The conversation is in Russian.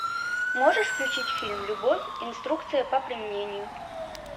можешь включить фильм любовь инструкция по применению